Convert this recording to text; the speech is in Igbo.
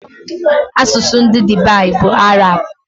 Asụsụ ndị Dubai bụ Arab